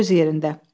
Bu öz yerində.